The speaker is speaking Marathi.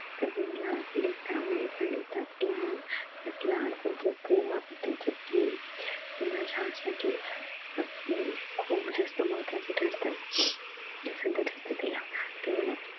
त्यांनी जे लाड केलेत त्यामुळे आणि त्याच लाड त्यात लाड त्यांच्या प्रेमाने त्यांचं प्रेम ते माझ्यासाठी अं खुप जास्त महत्वाचं ठरतंय सध्या त्याच्यातील